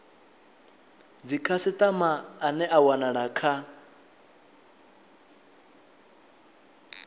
dzikhasitama ane a wanala kha